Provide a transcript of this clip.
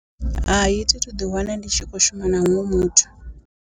Hai thi thu ḓi wana ndi tshi khou shuma na huṅwe muthu.